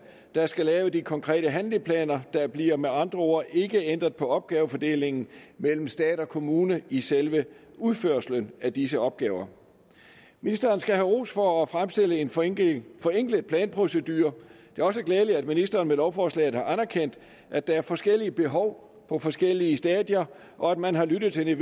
der skal lave de konkrete handleplaner der bliver med andre ord ikke ændret på opgavefordelingen mellem stat og kommune i selve udførelsen af disse opgaver ministeren skal have ros for at fremstille en forenklet forenklet planprocedure det er også glædeligt at ministeren med lovforslaget har anerkendt at der er forskellige behov på forskellige stadier og at man har lyttet til